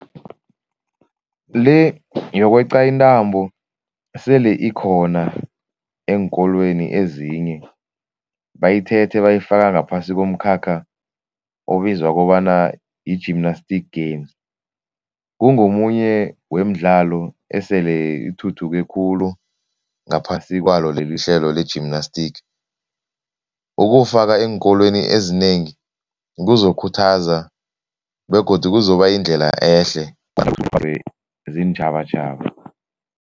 Le yokweqa intambo sele ikhona eenkolweni ezinye. Bayithethe bayifaka ngaphasi ngomkhakha obizwa kobana yi-gymnastic games. Ungomunye wemidlalo esele ithuthuke khulu ngaphasi kwalo lelihlelo le-gymanstic. Ukuwufaka eenkolweni ezinengi kuzokhuthaza begodu kuzobayindlela ehle ziintjhabatjhaba.